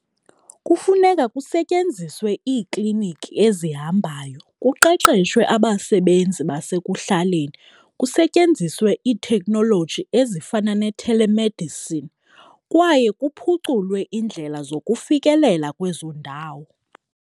Kufuneka kusetyenziswe iikliniki ezihambayo, kuqeqeshwe abasebenzi basekuhlaleni, kusetyenziswe iitheknoloji ezifana ne-telemedicine kwaye kuphuculwe indlela zokufikelela kwezo ndawo.